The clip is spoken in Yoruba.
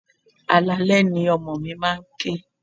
Alaalẹ́ ni ọmọ mi máa ń ké.